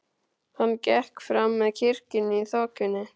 Hann gekk fram með kirkjunni í þokunni.